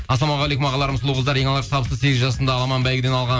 ассалаумағалейкум ағаларым сұлу қыздар ең алғашқы табысты сегіз жасымда аламан бәйгеден алған